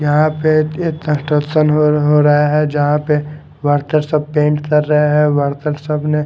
यहां पे एक कंस्ट्रक्शन हो हो रहा है जहां पे वर्कर सब पेंट कर रहे हैं वर्कर सब ने --